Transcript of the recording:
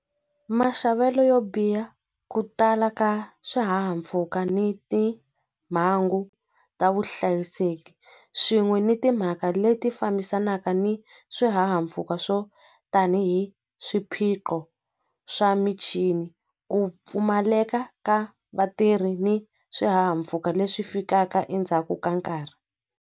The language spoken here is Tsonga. Maxavelo yo biha ku tala ka swihahampfhuka ni timhangu ta vuhlayiseki swin'we ni timhaka leti fambisanaka ni swihahampfhuka swo tanihi swiphiqo swa michini ku pfumaleka ka vatirhi ni swihahampfhuka leswi fikaka endzhaku ka nkarhi.